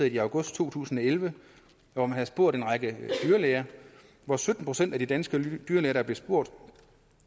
i august to tusind og elleve hvor man spurgte en række dyrlæger og sytten procent af de danske dyrlæger der blev spurgt